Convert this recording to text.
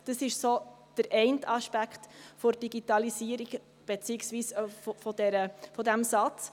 Das ist der eine Aspekt der Digitalisierung beziehungsweise dieses Satzes.